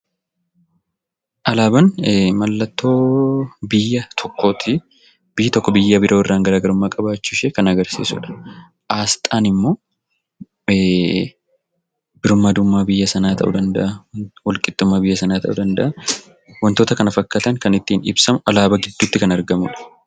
Alaabaan mallattoo biyya tokkooti. Biyyi tokko biyya biroorraan garaa garummaa qabaachuushee kan agarsiisudha. Aasxaan immoo birmadummaa biyya sanaa ta'uu danda'a, walqixxummaa biyya sanaa ta'uu danda'a .Wantoota kana fakkaatan kan ittiin ibsamu alaabaa gidduutti kan argamudha.